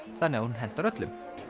þannig að hún hentar öllum